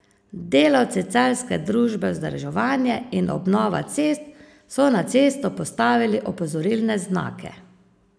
Delavci celjske družbe Vzdrževanje in obnova cest so na cesto postavili opozorilne znake.